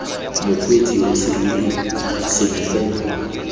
mokgweetsi wa serori sengwe fela